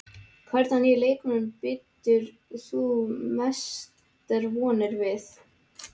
Hvern af nýju leikmönnunum bindur þú mestar vonir við?